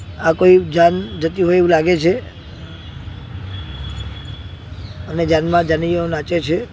આ કોઈ જાન જતી હોય એવુ લાગે છે અને જાનમા જાનીઓ નાચે છે.